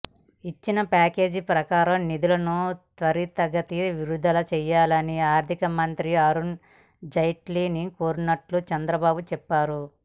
ఇచ్చిన ప్యాకేజీ ప్రకారం నిధులను త్వరితగతిన విడుదల చేయాలని ఆర్థికమంత్రి అరుణ్ జైట్లీని కోరినట్టు చంద్రబాబు చెప్పారు